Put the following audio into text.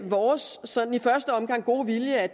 vores sådan i første omgang gode vilje at